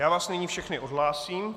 Já vás nyní všechny odhlásím.